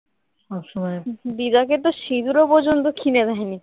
দিদাকে তো সিঁদুরও পর্যন্ত কিনে দেয়নি